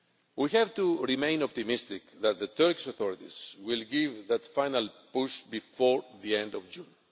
We have to remain optimistic that the Turkish authorities will give that final push before the end of June.